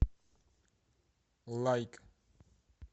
лайк